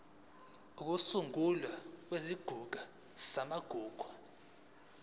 ukusungulwa kwesigungu samagugu